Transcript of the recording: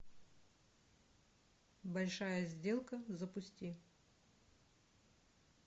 большая сделка запусти